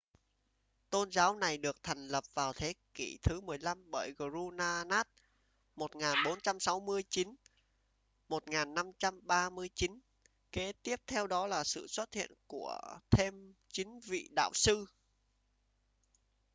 tôn giáo này được thành lập vào thế kỷ thứ 15 bởi guru nanak 1469–1539. kế tiếp theo đó là sự xuất hiện của thêm chín vị đạo sư